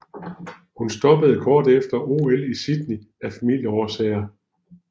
Hun stoppede kort efter OL i Sydney af familieårsager